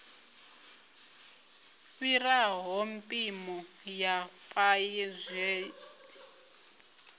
fhiraho mpimo ya paye zwine